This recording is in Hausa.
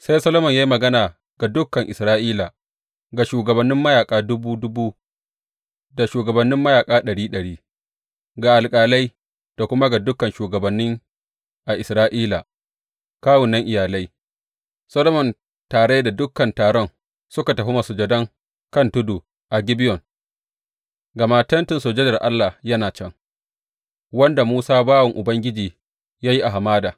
Sai Solomon ya yi magana ga dukan Isra’ila, ga shugabannin mayaƙa dubu dubu da shugabannin mayaƙa ɗari ɗari, ga alƙalai da kuma ga dukan shugabanni a Isra’ila, kawunan iyalai, Solomon tare da dukan taron suka tafi masujadan kan tudu a Gibeyon, gama Tentin Sujadar Allah yana can, wanda Musa bawan Ubangiji ya yi a hamada.